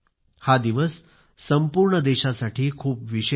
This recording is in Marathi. हा दिवस संपूर्ण देशासाठी खूप विशेष आहे